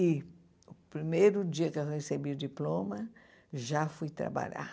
E no primeiro dia que eu recebi o diploma, já fui trabalhar.